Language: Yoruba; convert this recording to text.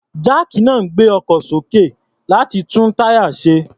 Jáàkì náà ń gbé ọkọ̀ sókè, láti tún táyà ṣe.